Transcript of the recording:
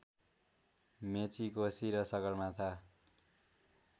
मेची कोशी र सगरमाथा